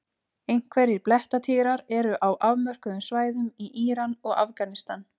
Einhverjir blettatígrar eru á afmörkuðum svæðum í Íran og Afganistan.